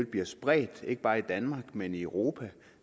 bliver spredt ikke bare i danmark men i europa